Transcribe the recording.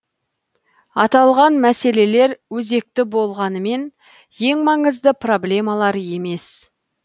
аталған мәселелер өзекті болғанымен ең маңызды проблемалар емес